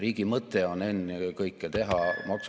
Riigi mõte on ennekõike teha ...